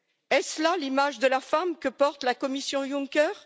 Est ce là l'image de la femme que porte la Commission Juncker?